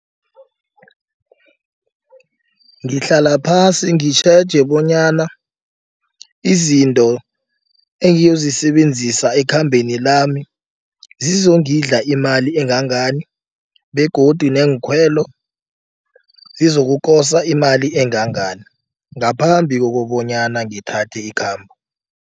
Ngihlala phasi ngitjheje bonyana izinto engiyozisebenzisa ekhambeni lami zizongidla imali engangani begodu neenkhwelo sizokukosa imali engangani ngaphambi kokobonyana ngithathe ikhambo.